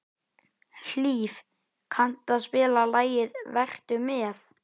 Hlíf, kanntu að spila lagið „Vertu með“?